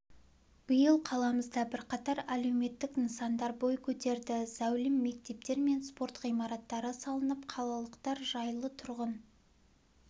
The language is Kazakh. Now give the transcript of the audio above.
биыл қаламызда бірқатар әлеуметтік нысандар бой көтерді зәулім мектептер мен спорт ғимараттары салынып қалалықтар жайлы тұрғын